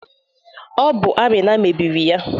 Ọ bụ Amina mebiri ya